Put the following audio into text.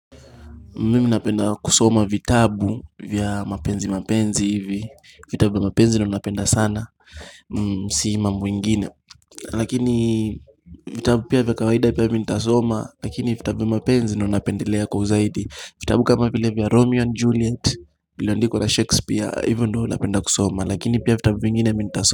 Mimi napenda kusoma vitabu vya mapenzi mapenzi hivi vitabu vya mapenzi nina napenda sana Si mambo ingine Lakini vitabu pia vya kawaida pia mi nitasoma Lakini vitabu vya mapenzi nina napendelea kwa zaidi vitabu kama vya romeo and juliet Iliondikwa la shakespeare hivyo ndivo napenda kusoma Lakini pia vitabu vingine mi ntasoma.